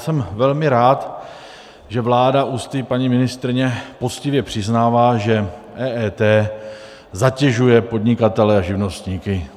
Jsem velmi rád, že vláda ústy paní ministryně poctivě přiznává, že EET zatěžuje podnikatele a živnostníky.